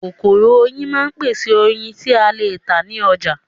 Kokoro oyin máa ń pèsè oyin ti a le ta ni oja